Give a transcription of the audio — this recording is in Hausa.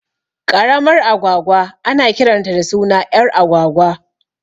Ƙaramar agwagwa ana kiranta da suna ƴar agwagwa